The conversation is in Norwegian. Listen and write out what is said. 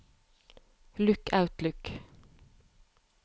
lukk Outlook